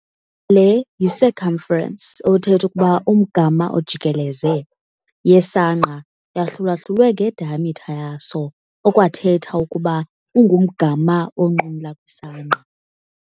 Le y-i-circumference othetha ukuba umgama ojikeleze yesangqa yahlulwahlulwe nge-diameter yaso okwathetha ukuba umgama onqumla kwisangqa.